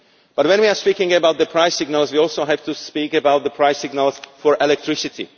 But when we are speaking about the price signals, we also have to speak about the price signals for electricity.